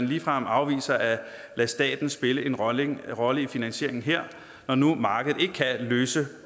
ligefrem afviser at lade staten spille en rolle en rolle i finansieringen her når nu markedet ikke kan løse